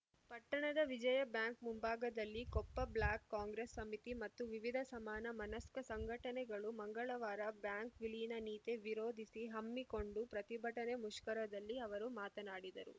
ಪಟ್ಟಣದ ವಿಜಯ ಬ್ಯಾಂಕ್‌ ಮುಂಭಾಗದಲ್ಲಿ ಕೊಪ್ಪ ಬ್ಲಾಕ್‌ ಕಾಂಗ್ರೆಸ್‌ ಸಮಿತಿ ಮತ್ತು ವಿವಿಧ ಸಮಾನ ಮನಸ್ಕ ಸಂಘಟನೆಗಳು ಮಂಗಳವಾರ ಬ್ಯಾಂಕ್‌ ವಿಲೀನ ನೀತಿ ವಿರೋಧಿಸಿ ಹಮ್ಮಿಕೊಂಡು ಪ್ರತಿಭಟನೆ ಮುಷ್ಕರದಲ್ಲಿ ಅವರು ಮಾತನಾಡಿದರು